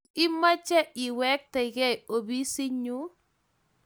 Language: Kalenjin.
Tos imache iwektenkey opisinyu?